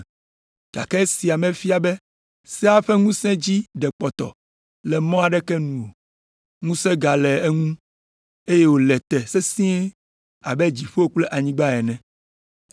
Gake esia mefia be sea ƒe ŋusẽ dzi ɖe kpɔtɔ le mɔ aɖeke nu o. Ŋusẽ gale eŋu, eye wòle te sesĩe abe dziƒo kple anyigba ene.